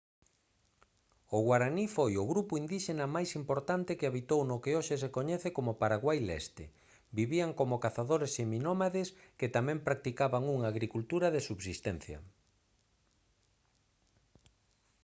o guaraní foi o grupo indíxena máis importante que habitou no que hoxe se coñece como paraguai leste vivían como cazadores seminómades que tamén practicaban unha agricultura de subsistencia